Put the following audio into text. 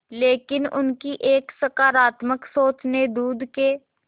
लेकिन उनकी एक सकरात्मक सोच ने दूध के